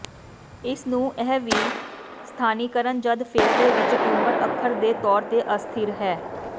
ਇਸ ਨੂੰ ਇਹ ਵੀ ਸਥਾਨੀਕਰਨ ਜਦ ਫੇਫੜੇ ਵਿਚ ਟਿਊਮਰ ਅੱਖਰ ਦੇ ਤੌਰ ਤੇ ਅਸਥਿਰ ਹੈ